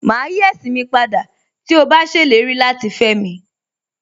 Màá yí ẹ̀sìn ní padà tí ó bá ṣèlérí láti fẹ́mi